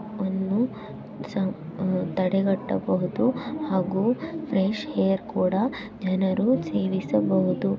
ಅನು ತಡೆಗಟ್ಟ ಬಹುದು ಹಾಗೂ ಫ್ರೆಶ ಹೇರ ಕೂಡ ಜನರೂ ಸೇವಿಸಬಹುದು.